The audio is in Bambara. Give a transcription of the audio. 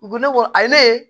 U ko ne ko a ye ne ye